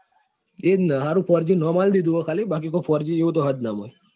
એ જ ને four g બાકી કોઈ four g જેવું તો કઈ છે જ નહી નામ આપી દીધું છે ખાલી